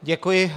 Děkuji.